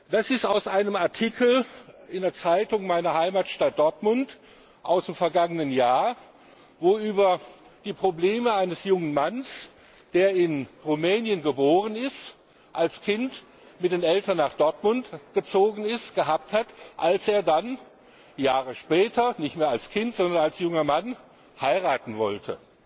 Das ist aus einem Artikel in einer Zeitung meiner Heimatstadt Dortmund aus dem vergangenen Jahr, wo über die Probleme eines jungen Mannes berichtet wird, der in Rumänien geboren und als Kind mit den Eltern nach Dortmund gezogen ist, die er hatte, als er dann Jahre später nicht mehr als Kind, sondern als junger Mann heiraten wollte.